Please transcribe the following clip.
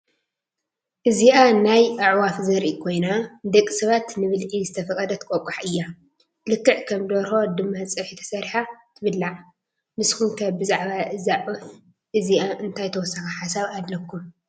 እዚኣ ናይ ኣዕዋፍ ዘርኢ ኮይና ንደቂ ሰባት ንብልዒ ዝተፈቐደት ቆቋሕ እያ፡፡ ልክዕ ከም ደርሆ ድማ ፀብሒ ተሰሪሓ ትብላዕ፡፡ ንስኹም ከ ብዛዕባ እዛ ዒፍ እዚኣ እንታይ ተወሳኺ ሓሳብ ኣለኩም?